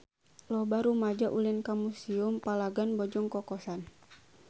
Loba rumaja ulin ka Museum Palagan Bojong Kokosan